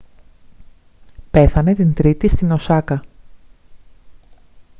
πέθανε την τρίτη στην οσάκα